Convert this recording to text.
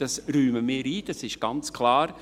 Das räumen wir ein, das ist ganz klar.